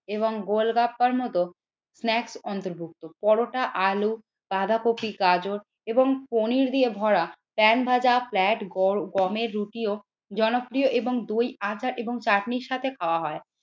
এবং গোলগাপ্পার মতো স্ন্যাকস অন্তর্ভুক্ত পরোটা আলু বাঁধাকপি গাজর এবং পনির দিয়ে ভরা পেন্ফ্ল্যা ভাজা ফ্লাট গগমের রুটিও জনপ্রিয় এবং দই আচার এবং চাটনির সাথে খাওয়া হয়।